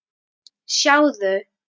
Sjáðu